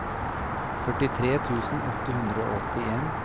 førtitre tusen åtte hundre og åttien